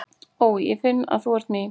Ó, ég finn að þú ert mín.